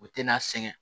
O tɛna sɛgɛn